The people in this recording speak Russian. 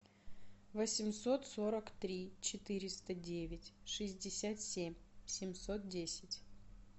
восемьсот сорок три четыреста девять шестьдесят семь семьсот десять